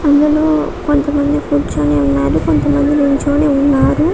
అందులో కొంత మంది కూర్చొని ఉన్నారు కొంత మంది నిల్చొని ఉన్నారు.